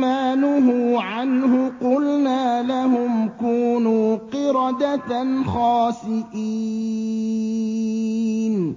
مَّا نُهُوا عَنْهُ قُلْنَا لَهُمْ كُونُوا قِرَدَةً خَاسِئِينَ